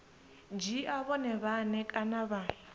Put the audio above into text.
dzhia vhone vhane kana vha